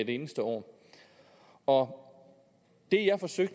eneste år år